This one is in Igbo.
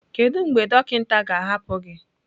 Kedu mgbe dọkịta ga-ahapụ gị?